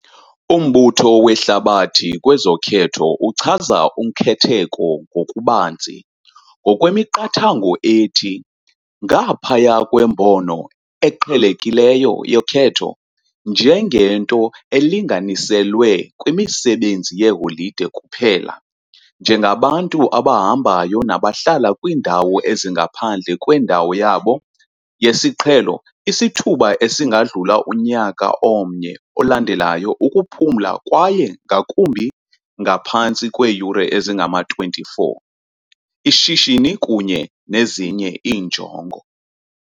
UMbutho weHlabathi kwezoKhetho uchaza ukhetheko ngokubanzi, ngokwemiqathango ethi "ngaphaya kwembono eqhelekileyo yokhetho njengento elinganiselwe kwimisebenzi yeholide kuphela", njengabantu "abahambayo nabahlala kwiindawo ezingaphandle kwendawo yabo yesiqhelo isithuba esingadlula unyaka omnye olandelayo ukuphumla kwaye ngakumbi ngaphantsi kweeyure ezingama-24, ishishini kunye nezinye iinjongo".